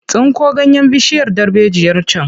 Tsinko ganyen bishiyar darbejiyar can!